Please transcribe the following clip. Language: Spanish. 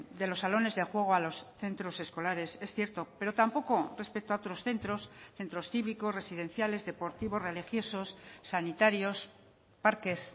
de los salones de juego a los centros escolares es cierto pero tampoco respecto a otros centros centros cívicos residenciales deportivos religiosos sanitarios parques